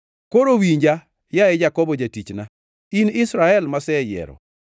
“Koro winja, yaye Jakobo jatichna, in Israel maseyiero.